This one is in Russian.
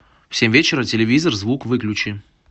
в семь вечера телевизор звук выключи